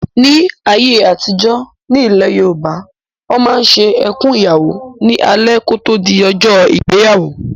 Ní ayé àtijọ́, ní ilẹ̀ Yorùbá, Wọ́n máa ń ṣe "Ẹkùn Ìyàwó" ní alẹ́ kò tó di ọjọ́ ìgbéyàwó